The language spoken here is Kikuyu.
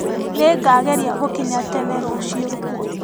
Nĩngageria gũkinya tene rũciũ.